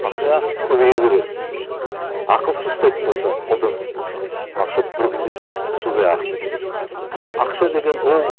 ақша көбейе береді ақылсыз ұстайтын болсаң қолданатын болсаң ақша бір күнде судай ағып кетеді ақша деген ол